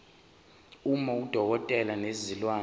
uma udokotela wezilwane